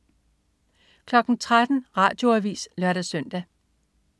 13.00 Radioavis (lør-søn)